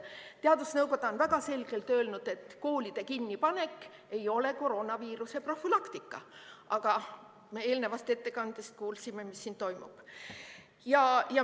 Teadusnõukoda on väga selgelt öelnud, et koolide kinnipanek ei ole koroonaviiruse profülaktika, aga eelnevast ettekandest kuulsime, mis siin toimub.